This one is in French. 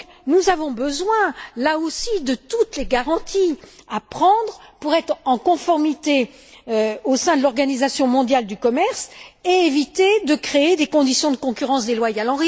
Nous avons besoin, là aussi, de toutes les garanties pour être en conformité avec l'Organisation mondiale du commerce et éviter de créer des conditions de concurrence déloyale.